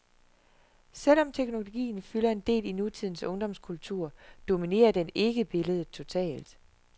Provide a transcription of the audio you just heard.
Selv om teknologien fylder en del i nutidens ungdomskultur, dominerer den ikke billedet totalt.